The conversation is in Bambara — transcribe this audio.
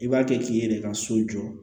I b'a kɛ k'i yɛrɛ ka so jɔ